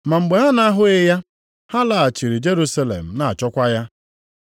Ma mgbe ha na-ahụghị ya, ha laghachiri Jerusalem na-achọkwa ya.